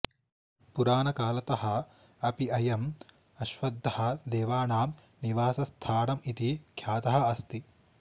पुराणकालतः अपि अयम् अश्वत्थः देवानां निवासस्थानम् इति ख्यातः अस्ति